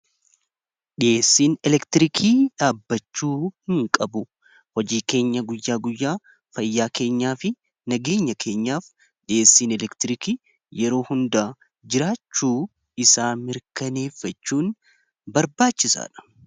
Dhi'eessiin elektirikii dhaabbachuu hin qabu hojii keenya guyyaa guyyaa fayyaa keenyaa fi nageenya keenyaaf dhiyeessiin elektiriikii yeroo hundaa jiraachuu isaa mirkaneeffachuun barbaachisaa dha.